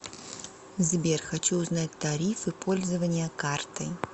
сбер хочу узнать тарифы пользования картой